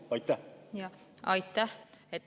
Aitäh!